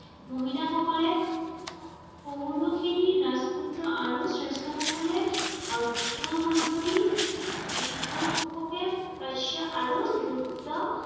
মহিলাসকলে আৰু শ্ৰেষ্ঠসকলে